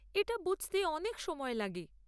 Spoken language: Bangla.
এটা বুঝতে অনেক সময় লাগে।